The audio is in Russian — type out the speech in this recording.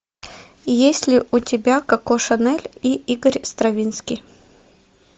есть ли у тебя коко шанель и игорь стравинский